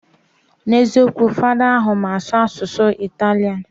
Na eziokwu, fada ahu mma asu asusu Italian